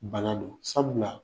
Bana don sabula